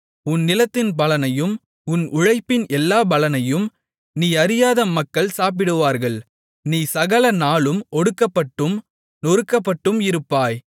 உன் நிலத்தின் பலனையும் உன் உழைப்பின் எல்லாப் பலனையும் நீ அறியாத மக்கள் சாப்பிடுவார்கள் நீ சகல நாளும் ஒடுக்கப்பட்டும் நொறுக்கப்பட்டும் இருப்பாய்